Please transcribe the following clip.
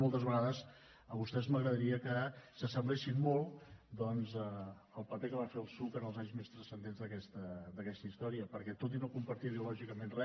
moltes vegades vostès m’agradaria que s’assemblessin molt doncs al paper que va fer el psuc en els anys més transcendents d’aquesta història perquè tot i no compartir ideològicament res